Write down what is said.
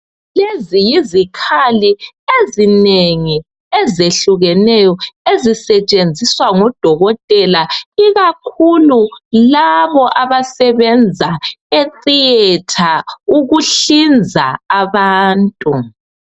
Lezi yizikhali ezinengi ezehlukeneyo ezisetshenziswa ngodokotela ikakhulu labo abasebenza e"thearter"ukuhlinza abantu.